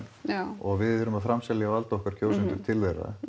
og við erum að framselja vald okkar kjósendur til þeirra